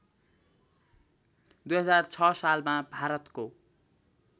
२००६ सालमा भारतको